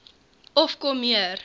of kom meer